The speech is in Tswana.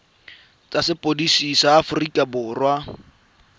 tsa sepodisi sa aforika borwa